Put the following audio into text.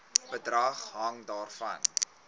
bedrag hang daarvan